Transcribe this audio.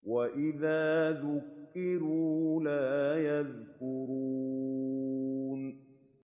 وَإِذَا ذُكِّرُوا لَا يَذْكُرُونَ